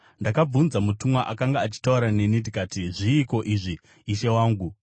Ndakabvunza mutumwa akanga achitaura neni ndikati, “Zviiko izvi, ishe wangu?”